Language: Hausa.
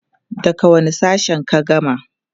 daga wani sashen ka gama?